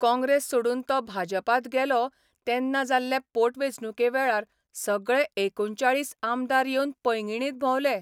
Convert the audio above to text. काँग्रेस सोडून तो भाजपांत गेलो तेन्ना जाल्ले पोटवेंचणुके वेळार सगळे एकूणचाळीस आमदार येवन पैंगीणींत भोंवले.